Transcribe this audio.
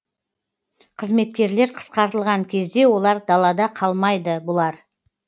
қызметкерлер қысқартылған кезде олар далада қалмайды бұлар